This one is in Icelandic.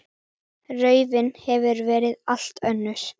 Raunin hefur verið allt önnur.